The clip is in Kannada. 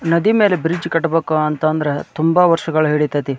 ನದಿ ಮೇಲೆ ಬ್ರಿಡ್ಜ್ ಕಟ್ಟಬೇಕು ಅಂತಂದ್ರೆ ತುಂಬ ವರ್ಷಗಳು ಹಿಡಿತೈತಿ.